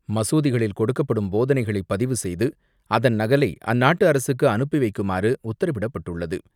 மசூதிகளில் கொடுக்கப்படும் போதனைகளை பதிவு செய்து அதன் நகலை அந்நாட்டு அரசுக்கு அனுப்பி வைக்குமாறு உத்தரவிடப்பட்டுள்ளது.